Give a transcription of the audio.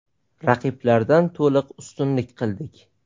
Raqiblardan to‘liq ustunlik qildik.